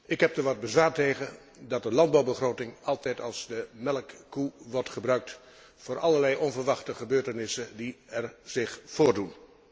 Ik heb er wat bezwaar tegen dat de landbouwbegroting altijd als melkkoe wordt gebruikt voor allerlei onverwachte gebeurtenissen die zich voordoen.